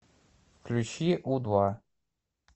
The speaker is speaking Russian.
включи у два